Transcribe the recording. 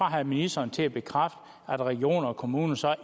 have ministeren til at bekræfte at regioner og kommuner så